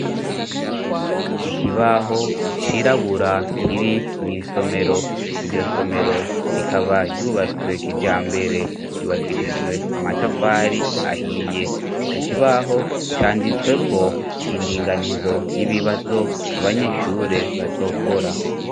Ikibaho cirabura kiri n'isomero niryo somero rikaba ryubatswek ija mbere rubakishijwe amatafari ahiye ico kibaho canditswe ko indinganizo y'ibibazo abanyishure bazokora.